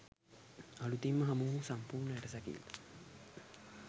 අලුතින්ම හමු වූ සම්පූර්ණ ඇටසැකිල්ල